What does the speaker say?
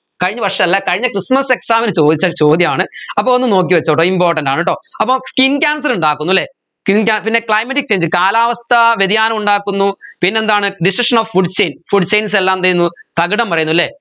കഴിഞ്ഞ വർഷല്ല കഴിഞ്ഞ christmas exam ന് ചോദിച്ച ചോദ്യമാണ് അപ്പോ ഒന്ന് നോക്കിവെച്ചോട്ടൊ important ആണട്ടോ അപ്പോ skin cancer ഉണ്ടാക്കുന്നു അല്ലെ skin cancer പിന്നെ climatic change കാലാവസ്ഥാ വ്യതിയാനം ഉണ്ടാക്കുന്നു പിന്നെന്താണ് decision of food chainfood chains എല്ലാം എന്ത് ചെയ്യുന്നു തകിടം മറിയുന്നു അല്ലെ